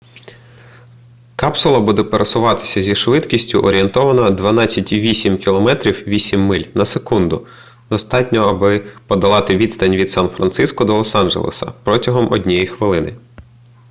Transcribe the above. капсула буде пересуватися зі швидкістю орієнтовно 12,8 км 8 миль на секунду – достатньо аби подолати відстань від сан-франциско до лос-анджелеса протягом однієї хвилини